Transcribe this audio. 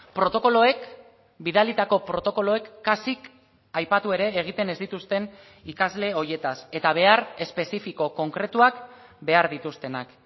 protokoloek bidalitako protokoloek kasik aipatu ere egiten ez dituzten ikasle horietaz eta behar espezifiko konkretuak behar dituztenak